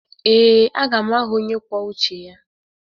Ee, aga m aghọ onye kwuo uche ya.